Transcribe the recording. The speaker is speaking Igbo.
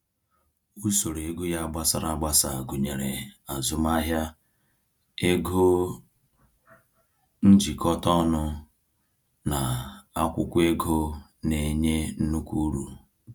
Usoro ego ya gbasara agbasa gụnyere azụmahịa, ego njikọta ọnụ, na akwụkwọ ego na-enye nnukwu uru.